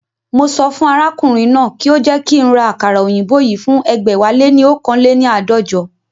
Mo sọ fún arákùnrin náà kí ó jẹ́ kí ń ra àkàrà òyìnbó yìí fún ẹgbẹ̀wáléní oókan léni àádọ́jọ